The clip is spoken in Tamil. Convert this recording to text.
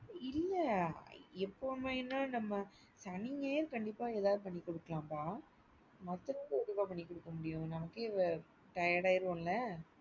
இல்ல எப்பவுமேனா நம்ம சனி ஞாயிறு கண்டிப்பா ஏதாது பண்ணி குடுக்கலாம்பா மத்த நாளுக்கு எப்படி பண்ணிக் கொடுக்க முடியும்? நமக்கே tired ஆயிருவோம்ல.